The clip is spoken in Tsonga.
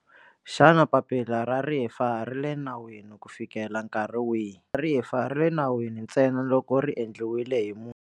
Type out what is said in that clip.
Xana papila ra rifa ri le nawini ku fikela nkarhi wihi? Ra rifa ri le nawini ntsena loko ri endliwile hi munhu.